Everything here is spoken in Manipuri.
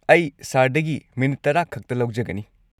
ꯑꯩ ꯁꯔꯗꯒꯤ ꯃꯤꯅꯤꯠ ꯱꯰ ꯈꯛꯇ ꯂꯧꯖꯒꯅꯤ꯫